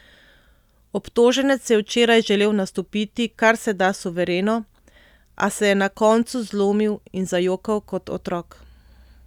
Obtoženec je včeraj želel nastopiti kar se da suvereno, a se je na koncu zlomil in zajokal kot otrok.